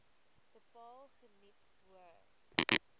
bepaal geniet hoë